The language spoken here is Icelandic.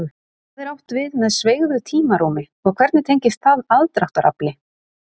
Hvað er átt við með sveigðu tímarúmi og hvernig tengist það aðdráttarafli?